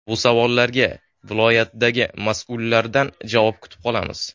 Bu savollarga viloyatdagi mas’ullardan javob kutib qolamiz.